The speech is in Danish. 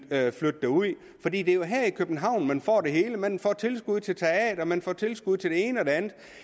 flytte derud for det er jo her i københavn man får det hele man får tilskud til teater man får tilskud til det ene og det andet